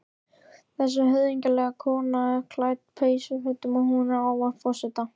Þessi höfðinglega kona er klædd peysufötum og hún ávarpar forseta.